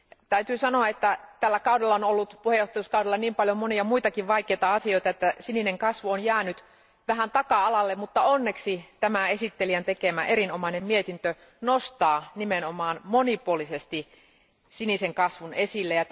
Täytyy sanoa, että tällä puheenjohtajuuskaudella on ollut niin paljon muitakin vaikeita asioita, että sininen kasvu on jäänyt vähän taka alalle, mutta onneksi tämä esittelijän tekemä erinomainen mietintö nostaa nimenomaan monipuolisesti sinisen kasvun esille.